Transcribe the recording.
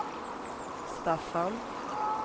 Staffan